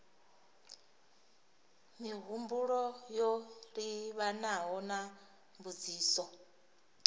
mihumbulo yo livhanaho na mbudziso